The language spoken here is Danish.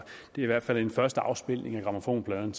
det er i hvert fald en første afspilning af grammofonpladen